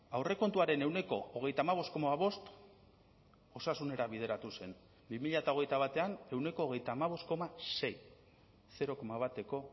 aurrekontuaren ehuneko hogeita hamabost koma bost osasunera bideratu zen bi mila hogeita batean ehuneko hogeita hamabost koma sei zero koma bateko